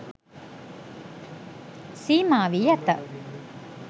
සීමා වී ඇත.